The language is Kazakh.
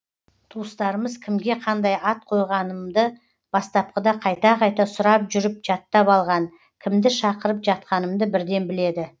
туыстарымыз кімге қандай ат қойғанымды бастапқыда қайта қайта сұрап жүріп жаттап алған кімді шақырып жатқанымды бірден біледі